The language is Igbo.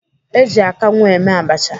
Eji akanwu eme abacha.